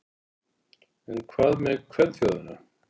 En hvað með kvenþjóðina?